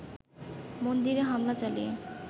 মন্দিরে হামলা চালিয়ে